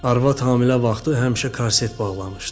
Arvad hamilə vaxtı həmişə korset bağlamışdı.